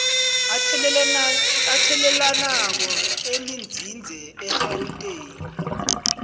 athelelanako elinzinze egauteng